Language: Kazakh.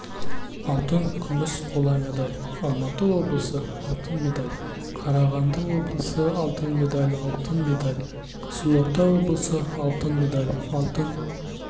алтын күміс қола медаль алматы облысы алтын медаль қарағанды облысы алтын медаль алтын медаль қызылорда облысы алтын медаль алтын